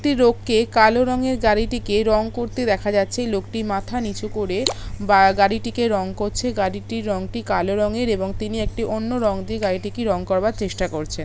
লোককে কালো রংয়ের গাড়িটিকে রং করতে দেখা যাচ্ছে লোকটির মাথা নিচু করে গাড়িটিকে রং করছে গাড়িটির রঙটি কালো রংয়ের এবং তিনি একটি অন্য রং দিয়ে গাড়িটি কি রং করবার চেষ্টা করছে ।